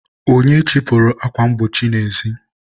onye chịpụrụ akwa mgbochi n'ezi?